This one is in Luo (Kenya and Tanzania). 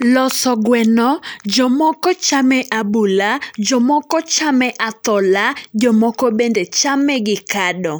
Loso gweno, jomoko chame abula, jomoko chame athola, jomoko bende chame gi kado.